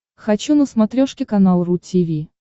хочу на смотрешке канал ру ти ви